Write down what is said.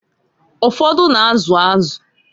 Ụfọdụ na-azụ azụ.